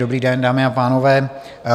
Dobrý den, dámy a pánové.